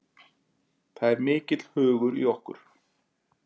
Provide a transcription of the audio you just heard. Það er mikill hugur í okkur